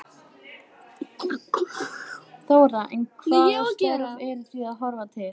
Þóra: En hvaða störf eru þið að horfa til?